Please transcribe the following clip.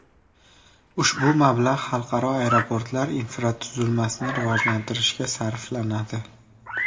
Ushbu mablag‘ xalqaro aeroportlar infratuzilmasini rivojlantirishga sarflanadi.